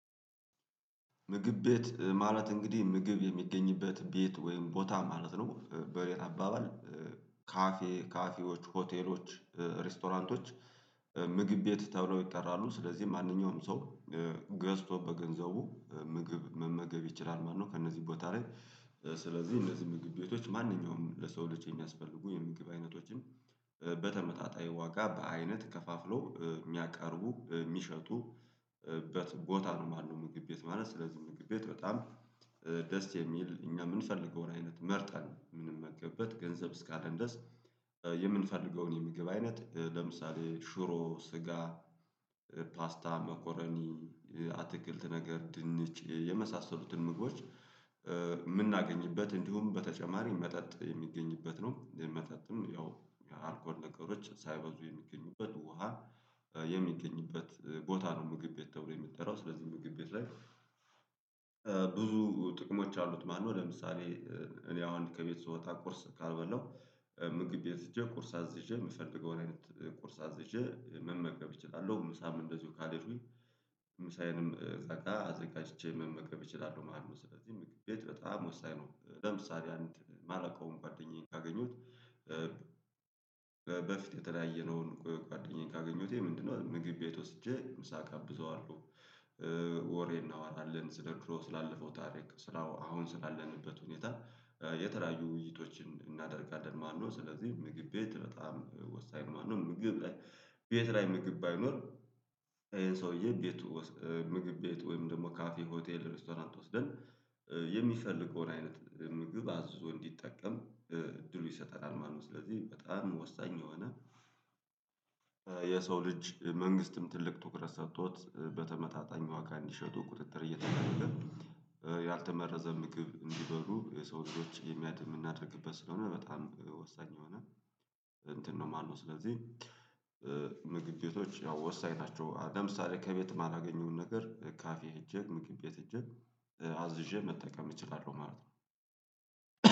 ምግብ ቤት ማለት እንግዲህ ምግብ የሚገኝበት ቤት ወይም ቦታ ማለት ነው በኔ አባባል። ካፌ ካፌዎች ሆቴሎች ሬስቶራንቶች ምግብ ቤት ተብለው ይጠራሉ። ስለዚህ ማንኛውም ሰው ገዝቶ በገንዘቡ ምግብ መመገብ ይችላል ማለት ነው። ከእነዚህ ቦታ ላይ ስለዚህ እነዚህ ምግብ ቤቶች ማንኛውም ለሰው ልጅ የሚያስፈልጉ የምግብ አይነቶችን በተመጣጣኝ ዋጋ በአይነት ከፋፍሎ የሚያቀርቡ የሚሸጡበት ቦታ ነው ማለት ነው። ምግብ ቤት ማለት ስለዚህ ምግብ ቤት በጣም ደስ የሚል እኛ የምንፈልገውን አይነት መርጠን የምንመገብበት ገንዘብ እስካለን ድረስ። የምንፈልገውን የምግብ አይነት ለምሳሌ ሽሮ ስጋ ፓስታ መኮረኒ አትክልት ነገር ድንች የመሳሰሉትን ምግቦች የምናገኝበት እንዲሁም በተጨማሪ መጠጥ የሚገኝበት ነው። መጠጥም ያው አልኮል ነገሮች ሳይበዙ የሚገኙበት ውሃ የሚገኝበት ቦታ ነው። ምግብ ቤት ተብሎ የሚጠራው ስለዚህ ምግብ ቤት ላይ ብዙ ጥቅሞች አሉት ማለት ነው። ለምሳሌ እኔ አሁን ከቤት ስወጣ ቁርስ ካልበላው ምግብ ቤት ሄጄ ቁርስ አዝዤ የምፈልገውን አይነት ቁርስ አዝዤ መመገብ እችላለሁ። ምሳም እንደዚሁ ካሌድኩኝ ምሳዬንም እዛጋ አዘጋጅቼ መመገብ እችላለሁ ማለት ነው። ስለዚህ ምግብ ቤት በጣም ወሳኝ ነው። ለምሳሌ አንድ ማለቀውን ጓደኛዬን ካገኘሁት በፊት የተለያየነውን ጓደኛዬን ካገኘሁት ምንድነው? ምግብ ቤት ወስጄ ምሳ እጋብዘዋለሁ። ወሬ እናወራለን ስለ ድሮ ስላለፈው ታሪክ አሁን ስላለንበት ሁኔታ የተለያዩ ውይይቶችን እናደርጋለን ማለት ነው። ስለዚህ ምግብ ቤት በጣም ወሳኝ ነው ማለት ነው። ምግብ ቤት ላይ ምግብ ባይኖር። ይሄ ሰውዬ ቤቱ ምግብ ቤቱ ወይም ደግሞ ካፌ ሆቴል ሬስቶራንት ወስደን የሚፈልገውን አይነት ምግብ አዞ እንዲጠቀም እድሉ ይሰጠናል ማለት ነው። ስለዚህ በጣም ወሳኝ የሆነ። የሰው ልጅ መንግስትም ትልቅ ትኩረት ሰጥቶት በተመጣጣኝ ዋጋ እንዲሸጡ ቁጥጥር እየተደረገ ያልተመረዘ ምግብ እንዲበሉ የሰው እጆች የምናደርግበት ስለሆነ በጣም ወሳኝ የሆነ እንትን ነው። ማነው? ስለዚህ ምግብ ቤቶች ያው ወሳኝ ናቸው። ለምሳሌ ከቤት የማላገኘውን ነገር ካፌ ሄጄ ምግብ ቤት ሄጄ አዝዤ መጠቀም እችላለሁ ማለት ነው።